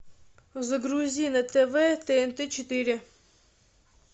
загрузи на тв тнт четыре